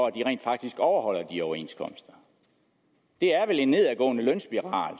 at de rent faktisk overholder de overenskomster det er vel en nedadgående lønspiral